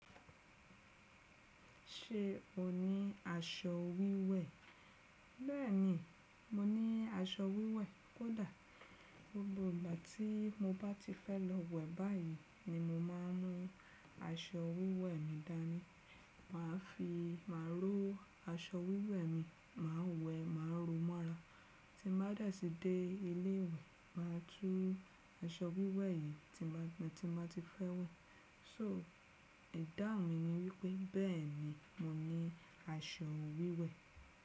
Ṣé o ní aṣọ wíwẹ̀? Bẹ́ẹ̀ni, mo ní aṣọ wíwẹ̀. Kódà gbogbo ìgbà tí mo bá ti fẹ́ lọ wẹ̀ báyìí ni mo má a ń mú aṣọ wíwẹ̀ mi dání. Mà á fi má rò aṣọ wíwẹ̀ mi, mà á wẹ, mà á ro mọ́ra. Tí mà bá dẹ̀ tí dé ilé ìwẹ̀, mà á tú aṣọ wíwẹ̀ yìí tí mbà ti fẹ́ wẹ̀. So ìdáhùn mi ni wípé bẹ́ẹ̀ni mo ní aṣọ wíwẹ̀.